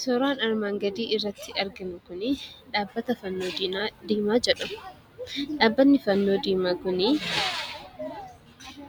Suuraa armaan gadii irratti arginu kuni dhaabbata Fannoo Diimaa jedhamudha. Dhaabbatni Fannoo Diimaa kuni